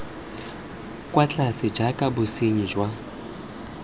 kwa tlase jaaka bosenyi jwa